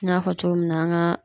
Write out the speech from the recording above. N y'a fɔ cogo min na an ka